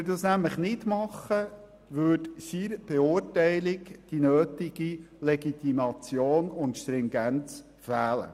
Würde er das nämlich nicht tun, würde seiner Beurteilung die nötige Legitimation und Stringenz fehlen.